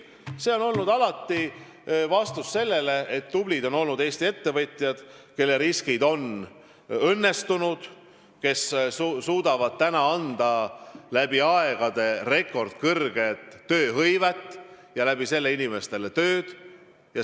Ei, ma olen alati tahtnud rõhutada, kui tulbid on olnud Eesti ettevõtjad, kelle riskid on õnnestunud, kes suudavad tagada läbi aegade rekordkõrge tööhõive ja tänu sellele inimestele tööd anda.